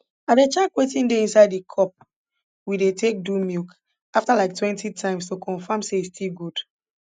i dey check wetin dey inside di cup we dey take do milk afta like twenty times to confam say e still good